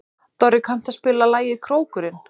Dorri, kanntu að spila lagið „Krókurinn“?